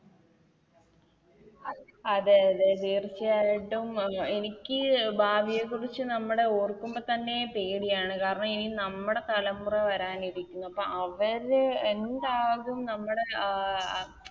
അതെ അതെ തീർച്ചയായിട്ടും എനിക്ക് ഭാവിയെക്കുറിച്ച് നമ്മുടെ ഓർക്കുമ്പോ തന്നെ പേടിയാണ് കാരണം എനി നമ്മുടെ തലമുറ വരാനിരിക്കുന്നപ്പം അവര് എന്താകും നമ്മുടെ ആ